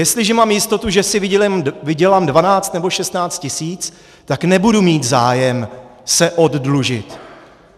Jestliže mám jistotu, že si vydělám dvanáct nebo šestnáct tisíc, tak nebudu mít zájem se oddlužit.